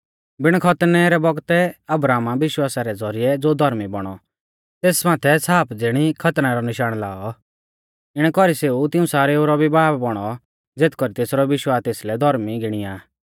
बिण खतनै रै बौगतै अब्राहमा विश्वासा रै ज़ौरिऐ ज़ो धौर्मी बौणौ तेस माथै छ़ाप ज़िणी खतनै रौ निशाण लाऔ इणै कौरीऐ सेऊ तिऊं सारेऊ रौ भी बाब बौणौ ज़ेथ कौरी तेसरौ भी विश्वास तेसलै धौर्मी गिणीया